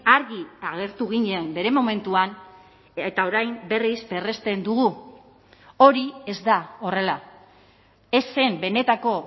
argi agertu ginen bere momentuan eta orain berriz berresten dugu hori ez da horrela ez zen benetako